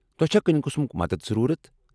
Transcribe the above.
تۄہہ چھا کُنہِ قٕسمُک مدتھ ضروٗرت؟